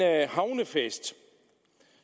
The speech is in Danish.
havnefest